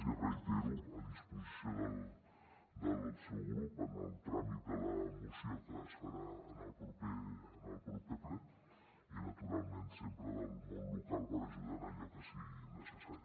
i ho reitero a disposició del seu grup en el tràmit de la moció que es farà en el proper ple i naturalment sempre del món local per ajudar en allò que sigui necessari